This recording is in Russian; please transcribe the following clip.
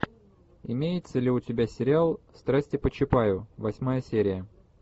имеется ли у тебя сериал страсти по чапаю восьмая серия